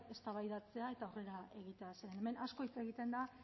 eztabaidatzea eta aurrera egitea zeren hemen asko hitz egiten da